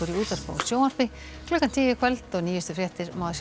útvarpi og sjónvarpi klukkan tíu í kvöld og nýjustu fréttir má